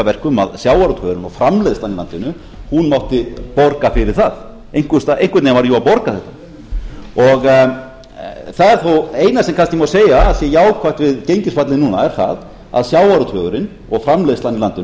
að verkum að sjávarútvegurinn og framleiðslan í landinu mátti borga fyrir það einhvern veginn varð að borga þetta það eina sem kannski má segja að sé jákvætt við gengisfallið núna er það að sjávarútvegurinn og framleiðslan í landinu